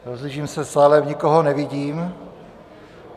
Rozhlížím se v sále, nikoho nevidím.